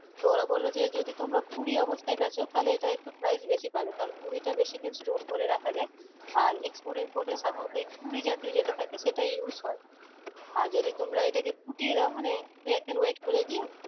তো ওরা বললো যে যদি তোমরা কুড়ি অবস্থায় বেচো তালে এটার একটু price বেশি পাবে কারণ কুড়িটা বেশি দিন store করে রাখা যায় আর export import সাধারণত এ কুড়ি জাতীয় যেটা থাকে থাকে সেগুলো use হয় আর এটা তোমরা যদি ফুটিয়ে দাও মানে দু একদিন wait করে গিয়ে